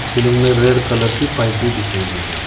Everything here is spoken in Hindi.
सीलिंग में रेड कलर की पाइप भी बिछाई हुई है।